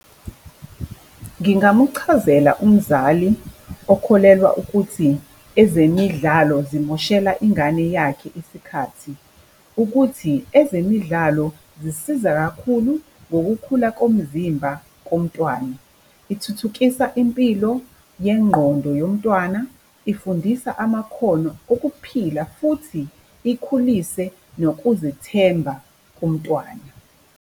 Ngingamuchazela umzali okholelwa ukuthi ezemidlalo zimoshela ingane yakhe isikhathi, ukuthi ezemidlalo zisiza kakhulu ngokukhulu komzimba komntwana. Ithuthukisa impilo yengqondo yomntwana, ifundisa amakhono okuphila futhi ikhulise nokuzethemba komntwana.